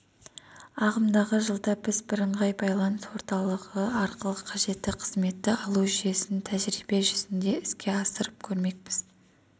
ағымдағы жылда біз бірыңғай байланыс орталығы арқылы қажетті қызметті алу жүйесін тәжірибе жүзінде іске асырып көрмекпіз